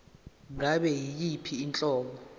ngabe yiyiphi inhlobo